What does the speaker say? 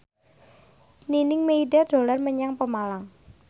Nining Meida dolan menyang Pemalang